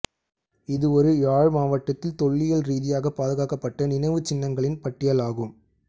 இது ஒரு யாழ் மாவட்டத்தில் தொல்லியல் ரீதியாக பாதுகாக்கப்பட்ட நினைவுச்சின்னங்களின் பட்டியல் ஆகும்